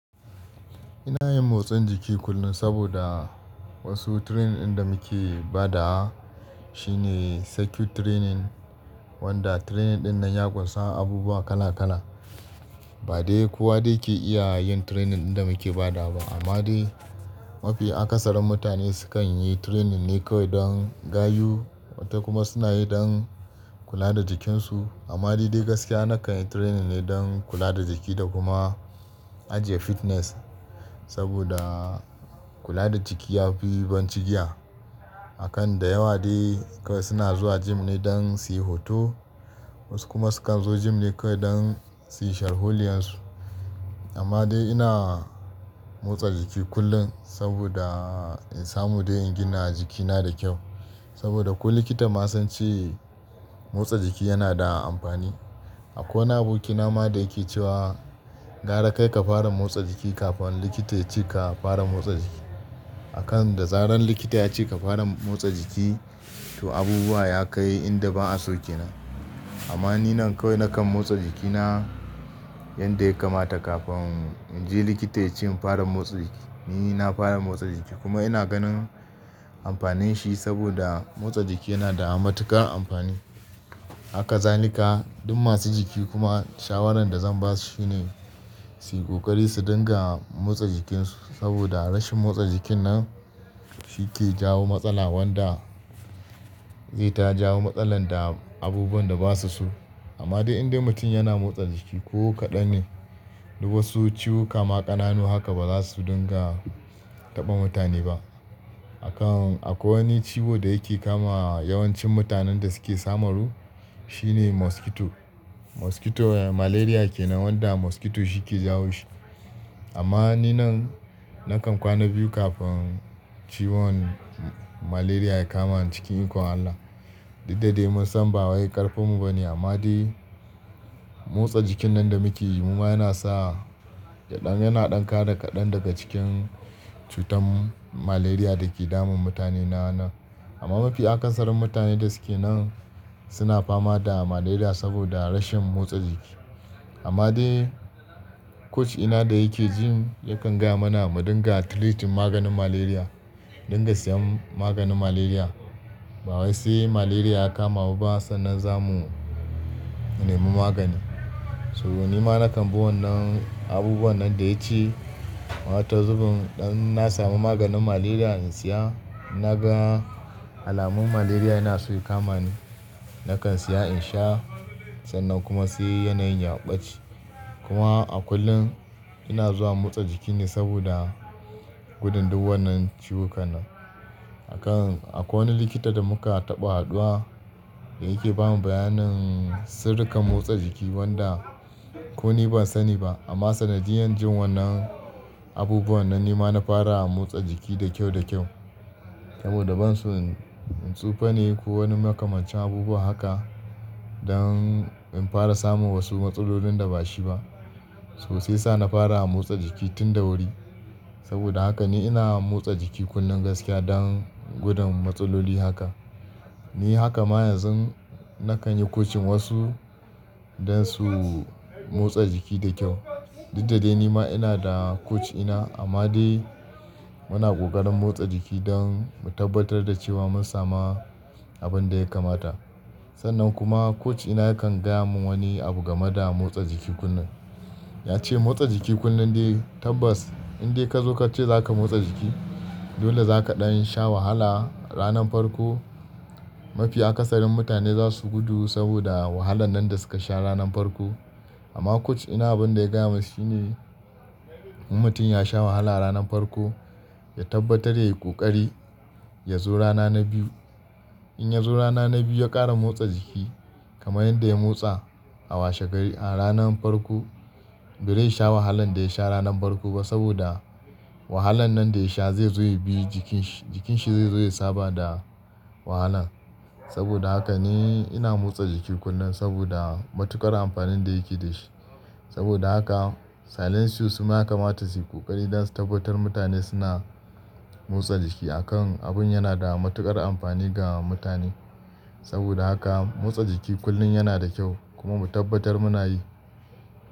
Ina yin motsa jiki kullum saboda, wasu training ɗin da muke ba da wa, shine circuit training wanda training ɗin nan ya kumsa abubuwa kala kala. Ba dai kowa dai ke iya yin training ɗin da muke bada ba amma dai mafi akasarin mutane sukan yi training ne kawai don gayu wata kuma suna yi don kula da jikinsu. Amma ni dai gaskiya nakan yi training ne don kula da jiki da kuma ajiye fitness saboda kula da jiki yafi ban ci giya. Akan da yawa dai kawai suna zuwa gym ne don su yi hoto wasu kuma sukan zo gym ne kawai don su shar huliyan su. Amma dai ina motsa jiki kullum saboda in samu don in gina jikina da kyau. Saboda ko likita ma sun ce motsa jiki yana da amfani. Akwai wani aboki na ma da yake cewa. Gara kai ka fara motsa jiki kafin likita ya ce ka fara motsa jiki. Akan da zaran likita ya ce ka fara motsa jiki, to abubuwa ya kai inda ba'a so ke nan. Amma ni nan kawai nakan motsa jikina. Yadda ya kamata kafin in je likita ya ce in fara motsa jiki ni ina fara motsa jiki kuma ina ganin amfanin shi saboda motsa jiki yana da matuƙar amfani. Haka zalika duk masu jiki kuma shawaran da zan ba su shi ne su yi ƙoƙari su dinga motsa jikinsu saboda rashin motsa jikin nan. Shi ke jawo matsala wanda zai ta jawo matsala da abubuwan da ba su so. Amma dai indai mutum yana motsa jiki ko kaɗan ne to wasu ciwo kama ƙananu haka ba za su dinga taɓa mutane ba. Akan akwai wani ciwo da yake kama yawancin mutanen da suke samaru, shi ne mosquito. Mosquito malaria ke nan wanda mosquito shi ke jawo shi. Amma ni nan, nakan kwana biyu kafin ciwon malaria ya kama ni cikin ikon Allah. Duk da dai mun san ba wai ƙarfin mu ba ne, amma dai motsa jikin nan da muke yi mu ma yana sa. Kaɗan yana ɗan ka da kaɗan daga cikin cutar malaria da ke damun mutane na nan. Amma mafi akasarin mutanen da suke nan, suna fama da malaria saboda rashin motsa jiki. Amma dai coach ina da yake gym, yakan gaya mana mu dinga treating maganin malaria, dinga siyan maganin malaria. Ba wai sai malaria ya kama mu ba sannan za mu nemi magani. So ni ma nakan bi wannan abubuwan nan da ya ce wata zubun in na samu maganin malaria in siya. Na gan alamun malaria yana so ya kama ni, nakan siya in sha sannan kuma sai yana yin yaɓaci. Kuma a kullum ina zuwa motsa jiki ne saboda gudun duk wannan ciwuka nan. Akan akwai wani likita da muka taɓa haɗuwa da yake bamu bayanin sirrikan motsa jiki wanda. Ko ni ban sani ba amma sannan jiya jin wannan. Abubuwan nan ni ma na fara motsa jiki da kyau da kyau. Saboda ban so in tsufa ne ko wani makamashin abubuwa haka don in fara samun wasu matsalolin da bashi ba. Toh shi yasa na fara motsa jiki tun da wuri. Saboda haka ni ina motsa jiki kullum gaskiya don gudun matsaloli haka. Ni haka ma yanzun nakan yi coaching wasu don su. Motsa jiki da kyau. Duk da dai ni ma ina da coach ina, amma dai muna ƙoƙarin motsa jiki don mu tabbatar da cewa mun samu abin da ya kamata. Sannan kuma coach ina yakan gaya mun wani abu game da motsa jiki kullum. Ya ce motsa jiki kullum dai tabbas in dai ka zo ka ce za ka motsa jiki dole za ka ɗan sha wahala. Ranar farko mafi akasarin mutane za su gudu saboda wahalan nan da suka sha ranar farko. Amma coach ina abin da ya gaya mun shi ne in mutum ya sha wahala ranar farko ya tabbatar ya yi ƙoƙari ya zo rana na biyu. In ya zo rana na biyu ya ƙara motsa jiki, kamar yadda ya motsa a washe gari a ranar farko bai rai sha wahalan da ya sha ranar farko ba sabodak. Wahalan nan da ya sha zai zo ya bi jikin shi, jikin shi zai zo ya saba da wahalan. Saboda haka ne ina motsa jiki kullum saboda matuƙar amfanin da yake dashi. Saboda haka silem su ma ya kamata su yi ƙoƙari don su tabbatar mutane suna motsa jiki. Akan abun yana da matuƙar amfani ga mutane. Saboda haka motsa jiki kullum yana da kyau kuma mu tabbatar muna yi.